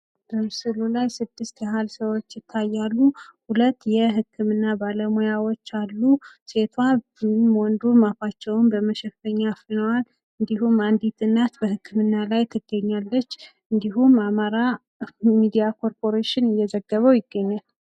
በምስሉ ላይ ስድስት ያህል ሰዎች ይታያሉ ። ሁለት የህክምና ባለሙያዎች አሉ። ሴቷም ወንድም አፋቸውን በመሸፈኛ አፍነዋል ። እንዲሁም አንዲት እናት በህክምና ላይ ትገኛለች ።እንዲሁም አማራ ሚዲያ ኮርፖሬሽን እየዘገበው ይገኛል ።